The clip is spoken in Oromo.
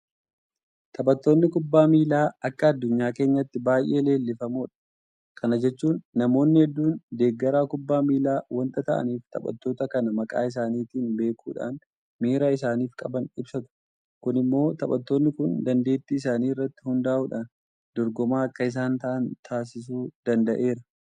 Taphattoonni kubbaa miilaa akka addunyaa keenyaatti baay'ee leellifamoodha. Kana jechuun namoonni hedduun deeggaraa kubbaa miilaa waanta ta'aniif taphattoota kana maqaa isaaniitiin beekuudhaan miira isaaniif qaban ibsatu. Kun immoo taphattoonni kun dandeettii isaanii irratti hundaa'uudhaan dorgomaa akka isaan ta'an taasisuu danda'eera.